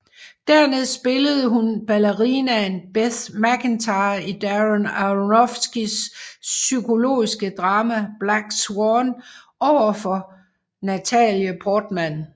Dernæst spillede hun ballerinaen Beth Macintyre i Darren Aronofskys psykologiske drama Black Swan overfor Natalie Portman